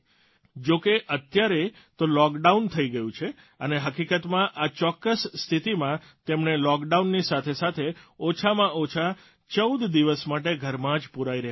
જો કે અત્યારે તો લૉકડાઉન થઇ ગયું છે અને હકીકતમાં આ ચોક્કસ સ્થિતિમાં તેમણે લૉકડાઉનની સાથે સાથે ઓછામાં ઓછા ૧૪ દિવસ માટે ઘરમાં જ પૂરાઇ રહેવાનું છે